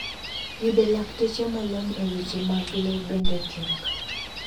Yudo lakteche molony e weche mag le bende tek.